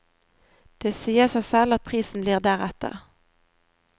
Det sier seg selv at prisen blir deretter.